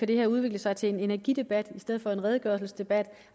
det her udvikle sig til en energidebat i stedet for en redegørelsesdebat